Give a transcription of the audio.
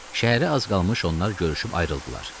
Şəhərə az qalmış onlar görüşüb ayrıldılar.